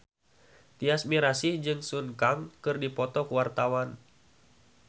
Tyas Mirasih jeung Sun Kang keur dipoto ku wartawan